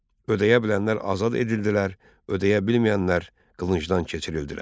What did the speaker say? Ödəyə bilənlər azad edildilər, ödəyə bilməyənlər qılıncdan keçirildilər.